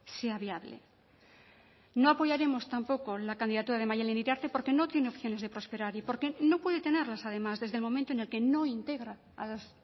sea viable no apoyaremos tampoco la candidatura de maddalen iriarte porque no tiene opciones de prosperar y porque no puede tenerlas además desde el momento en el que no integra a las